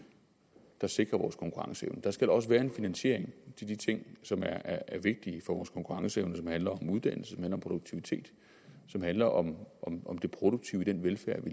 der sikrer vores konkurrenceevne der skal også være en finansiering af de ting som er vigtige for vores konkurrenceevne som handler om uddannelse og om produktivitet som handler om om det produktive i den velfærd vi